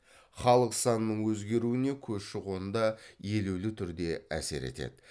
халық санының өзгеруіне көші қон да елеулі түрде әсер етеді